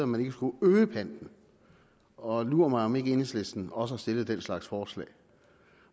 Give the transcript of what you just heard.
man ikke skulle øge panten og lur mig om ikke enhedslisten også den slags forslag